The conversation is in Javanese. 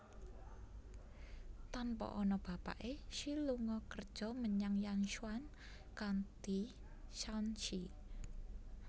Tanpa ana bapake Xi lunga kerja menyang Yanchuan County Shaanxi